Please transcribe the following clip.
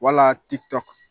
Walaa TIKTOK